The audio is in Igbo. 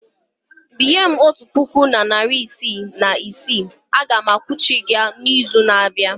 Binye m otu puku na narị ise na iri ise a ga m akwụghachi gị n'izu na-abịa.